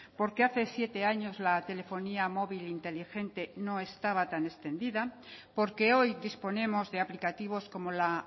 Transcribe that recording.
porque hace siete años la telefonía móvil inteligente no estaba tan extendida porque hoy disponemos de aplicativos como la